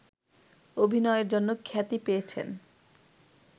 অভিনয়ের জন্য খ্যাতি পেয়েছেন